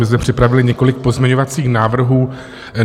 My jsme připravili několik pozměňovacích návrhů.